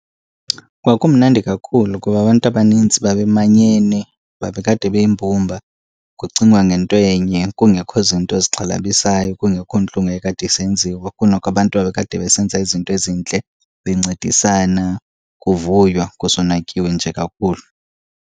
Kwakumnandi kakhulu kuba abantu abanintsi babemanyene, babekade beyimbumba kucingwa ngento enye kungekho zinto zixhalabisayo, kungekho ntlungu eyayikade isenziwa. Kunoko abantu babekade besenza izinto ezintle bencedisana, kuvuywa kusonwatyiwe nje kakuhle.